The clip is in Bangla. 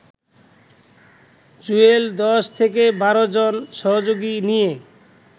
জুয়েল ১০ থেকে ১২ জন সহযোগী নিয়ে